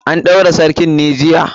An ɗaura sarkin ne jiya?